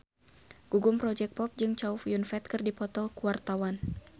Gugum Project Pop jeung Chow Yun Fat keur dipoto ku wartawan